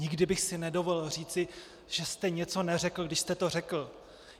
Nikdy bych si nedovolil říci, že jste něco neřekl, když jste to řekl.